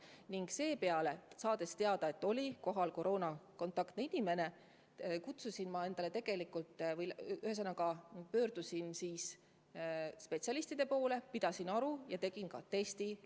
Kui ma olin teada saanud, et üritusel oli kohal ka koroonahaige inimene, pöördusin ma spetsialistide poole, pidasin aru ja tegin ka testi.